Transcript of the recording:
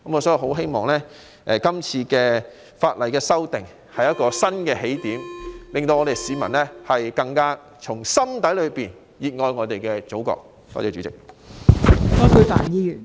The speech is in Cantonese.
所以，希望是次法例修訂工作是一個新起點，能令市民更加打從心底熱愛我們的祖國。